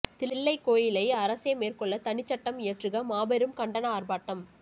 தில்லைக் கோயிலை அரசே மேற்கொள்ள தனிச்சட்டம் இயற்றுக மாபெரும் கண்டன ஆர்ப்பாட்டம்